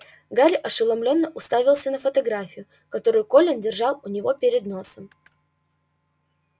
гарри ошеломлённо уставился на фотографию которую колин держал у него перед носом